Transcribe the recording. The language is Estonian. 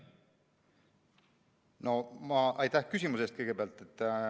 Kõigepealt aitäh küsimuse eest!